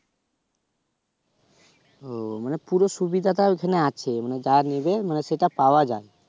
ও মানে পুরো সুবিধাটা আছে মানে ওখানে আছে মানে যা নিবে মানে সেটা পাওয়া যায়।